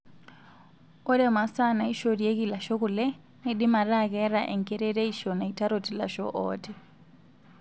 Ore masaa naaishorieki ilasho kule neidim ataa keeta enkerereisho naitarot ilashoo ooti.